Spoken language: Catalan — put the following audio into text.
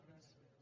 gràcies